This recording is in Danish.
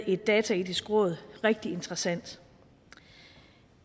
et dataetisk råd rigtig interessant